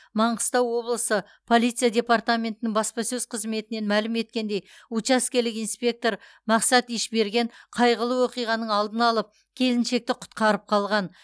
маңғыстау облысы полиция департаментінің баспасөз қызметінен мәлім еткендей учаскелік инспектор мақсат ишберген қайғылы оқиғаның алдын алып келіншекті құтқарып қалған